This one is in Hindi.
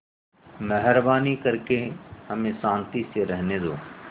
मेहरबानी करके हमें शान्ति से रहने दो